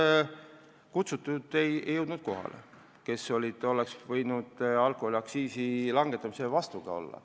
Osa kutsutuid ei jõudnud kohale, vahest keegi neist oleks alkoholiaktsiisi langetamise vastu olnud.